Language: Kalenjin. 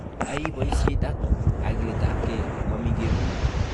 Ai boisiet ak kagiletabge, momii kemuny